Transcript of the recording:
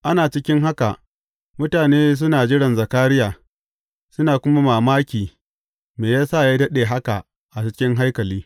Ana cikin haka, mutane suna jiran Zakariya, suna kuma mamaki me ya sa ya daɗe haka a cikin haikali.